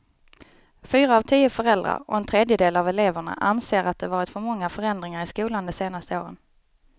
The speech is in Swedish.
Fyra av tio föräldrar och en tredjedel av eleverna anser att det varit för många förändringar i skolan de senaste åren.